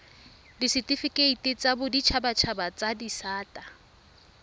ditifikeiti tsa boditshabatshaba tsa disata